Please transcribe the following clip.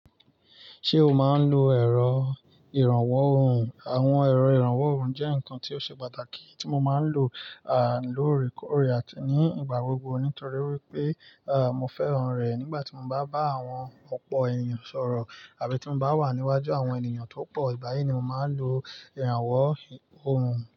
Ṣé o máa ń lo ẹ̀rọ ìrànwọ́ ohùn? Àwọn ẹ̀rọ ìrànwọ́ ohùn jẹ́ nǹkan tí ó ṣe pàtàkì tí mo máa ń lò lóòrèkóòrè àti ní ìgbà gbogbo nítorí wípé à, mo fẹ́ràn rẹ̀ nígbà tí mo bá bá àwọn ọ̀pọ̀ ènìyàn sọ̀rọ̀ àbí tí mo bá wà níwájú àwọn ènìyàn tó pọ̀. Báyìí ni mo máa ń lo ìrànwọ́ ohùn.